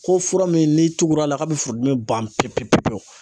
Ko fura min n'i tugura k'a bɛ furudimi ban pewu pewu pewu